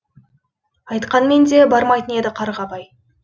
айтқанмен де бармайтын еді қарғабай